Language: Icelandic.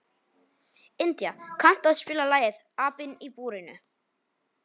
India, kanntu að spila lagið „Apinn í búrinu“?